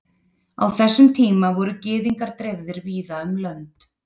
á þessum tíma voru gyðingar dreifðir víða um lönd